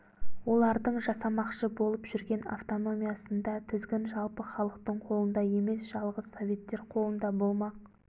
олардың жасамақшы болып жүрген автономиясында тізгін жалпы халықтың қолында емес жалғыз советтер қолында болмақ